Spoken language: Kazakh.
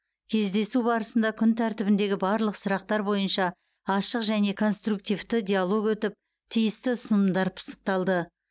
кездесу барысында күн тәртібіндегі барлық сұрақтар бойынша ашық және конструктивті диалог өтіп тиісті ұсынымдар пысықталды